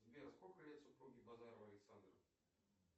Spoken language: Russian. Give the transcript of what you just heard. сбер сколько лет супруге базарова александра